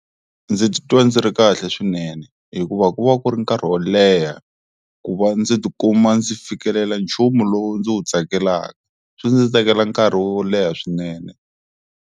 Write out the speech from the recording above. Ndzi titwa ndzi ri kahle swinene hikuva ku va ku ri nkarhi wo leha ku va ndzi tikuma ndzi fikelela nchumu lowu ndzi wu tsakelaka, swi ndzi tekela nkarhi wo leha swinene.